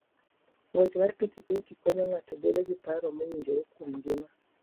Ng'wech mar pikipiki konyo ng'ato bedo gi paro mowinjore kuom ngima.